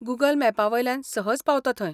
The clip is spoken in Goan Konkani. गूगल मॅपावेल्यान सहज पावता थंय.